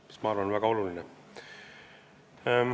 Ma arvan, et see on väga oluline.